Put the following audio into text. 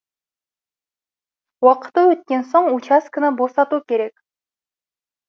уақыты өткен соң учаскені босату керек